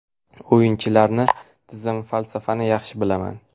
O‘yinchilarni, tizim, falsafani yaxshi bilaman.